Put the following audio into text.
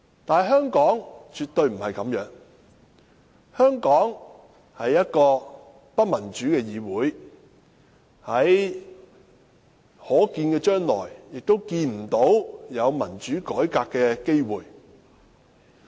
但是，香港絕對不是這樣，香港立法會是不民主的議會，在可見的將來也看不到有民主改革的機會。